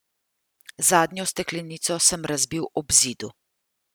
Zadnjo steklenico sem razbil ob zidu.